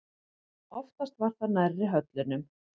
Oftast var það nærri höllunum.